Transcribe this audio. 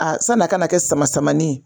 sanni a ka na kɛ sama samanin ye